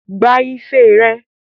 Gba ife rẹ!